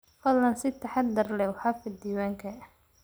Fadlan si taxadar leh u xafid diiwaanka